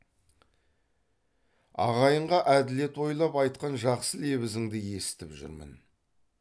ағайынға әділет ойлап айтқан жақсы лебізіңді есітіп жүрмін